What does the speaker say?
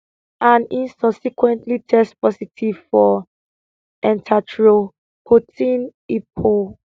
and im subsequently test positive for erythropoietin epo